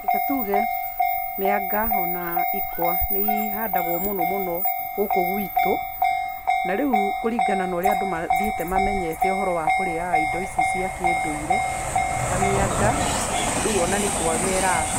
Reke tuge mĩanga o na ikwa nĩ ihandagwo mũno mũno gũkũ gwitũ, na rĩu kũringana na ũrĩa andũ mathiĩte mamenyete ũhoro wa kũrĩaga indo ici cia kĩndũire, ta mĩanga, rĩu o na nĩ kwaga ĩraga,